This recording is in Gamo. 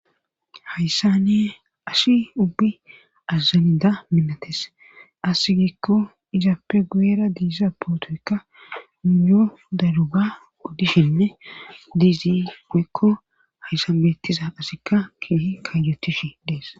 Haysane ashi ubbi azazanida minates asi gikko izaappe guyera diissa pootoykka niyo daruga oddishinne diizi guekko hayssan beettiza asikka kih kajetishi dees